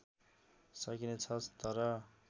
सकिने छ तर